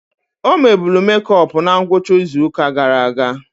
O mebulu mekop na ngwụcha izuụka gara aga.